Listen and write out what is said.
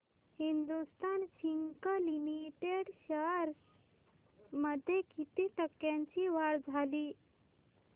Hindustan Zinc Limited shares मध्ये किती टक्क्यांची वाढ झाली